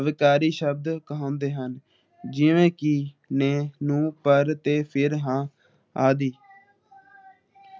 ਅਵਿਕਾਰੀ ਸ਼ਬਦ ਕਹੋੰਦੇ ਹਨ । ਜਿਵੇ ਕਿ ਲੇ ਨੂੰ ਪਰ ਤੇ ਫੇਰ ਹਾਂ ਆਦਿ ।